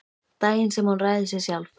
Daginn sem hún ræður sér sjálf.